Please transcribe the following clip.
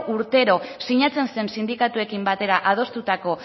urtero sinatzen zen sindikatuekin batera adostutako